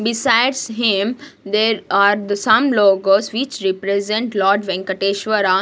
besides him there are the some logos which represent lord Venkateswara.